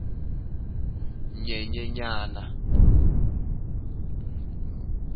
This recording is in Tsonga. nyenyenyana